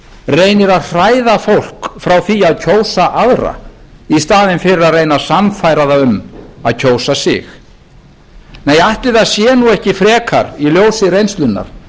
reynir að hræða fólk frá því að kjósa aðra í staðinn fyrir að reyna að sannfæra það um að kjósa sig nei ætli það sé nú ekki frekar í ljósi reynslunnar